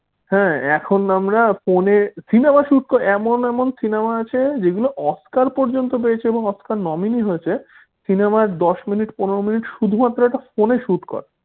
হাঁ এখন আমরা ফোনে cinema shoot করে এমন এমন cinema আছে যেগুলো অস্কার পর্যন্ত পেয়েছে এবং অস্কার nominee হয়েছে। cinema দশ মিনিট পনের মিনিট শুধুমাত্র একটা ফোনে shoot করা